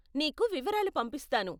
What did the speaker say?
నీకు వివరాలు పంపిస్తాను.